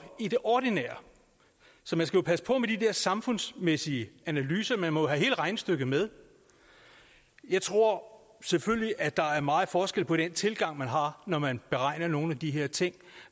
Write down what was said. i det ordinære så man skal passe på med de der samfundsmæssige analyser man må jo have hele regnestykket med jeg tror selvfølgelig at der er meget forskel på den tilgang man har når man beregner nogle af de her ting